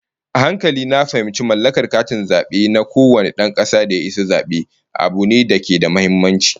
A hankali na fahimci cewa mallakar katin zabe na kowane dan kasa da ya isa zabe, abu ne da ke da muhimmanci